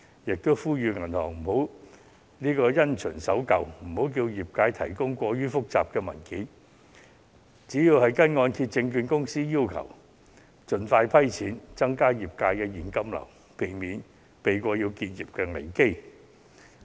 我並呼籲銀行不要因循守舊，不應要求業界提供過於複雜的文件，而應該按照香港按揭證券有限公司的要求盡快批出貸款，增加業界的現金流，避免結業危機。